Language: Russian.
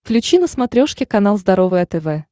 включи на смотрешке канал здоровое тв